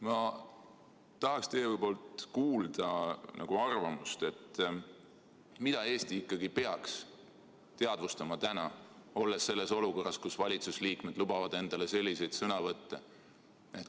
Ma tahaksin teie suust kuulda arvamust, mida Eesti ikkagi peaks teadvustama täna, olles olukorras, kus valitsuse liikmed lubavad endale selliseid sõnavõtte.